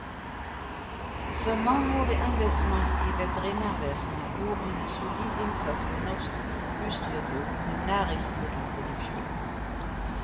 Som mangeårig embedsmann i veterinærvesenet gjorde han en solid innsats for norsk husdyrbruk og næringsmiddelproduksjon.